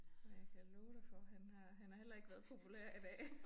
Ja jeg kan love dig for han har han har heller ikke været populær i dag